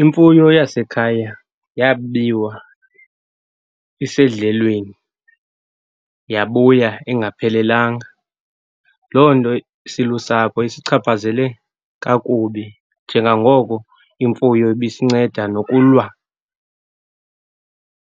Imfuyo yasekhaya yabiwa isedlelweni, yabuya ingaphelelanga. Loo nto silusapho isichaphazele kakubi njengangoko imfuyo ibisinceda nokulwa